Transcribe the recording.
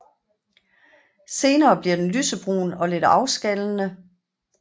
Senere bliver den lysebrun og lidt afskallende